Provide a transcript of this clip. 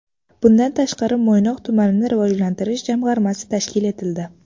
Bundan tashqari, Mo‘ynoq tumanini rivojlantirish jamg‘armasi tashkil etildi.